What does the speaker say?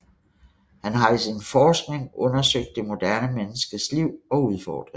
Han har i sin forskning undersøgt det moderne menneskes liv og udfordringer